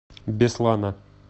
беслана